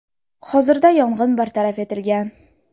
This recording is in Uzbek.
Hozirda yong‘in bartaraf etilgan.